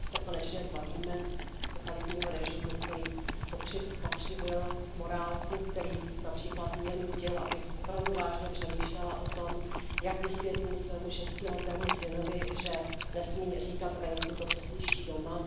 se konečně zbavíme totalitního režimu, který pokřivil morálku, který například mě nutil, abych opravdu vážně přemýšlela o tom, jak vysvětlím svému šestiletému synovi, že nesmí říkat venku to, co slyší doma.